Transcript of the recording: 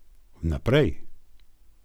Vnaprej!